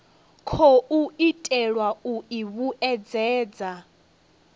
khou itelwa u i vhuedzedza